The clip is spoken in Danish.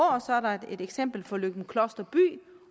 og så er der et eksempel fra løgumkloster by